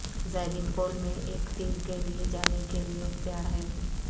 زائرین پول میں ایک تیر کے لئے جانے کے لئے اختیار ہے